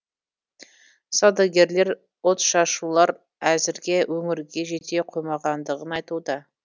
саудагерлер отшашулар әзірге өңірге жете қоймағандығын айтуда